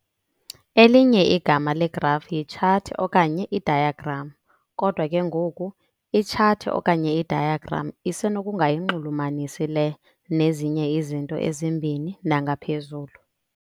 elinye igama legraf yitshathi okanye idiagram. kodwa ke ngoku, itshathi okanye idiagram isenokungayinxulumanisi le nnezinye izinto ezimbini nangaphezulu.